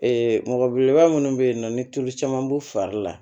mɔgɔ belebeleba minnu bɛ yen nɔ ni tulu caman b'u fari la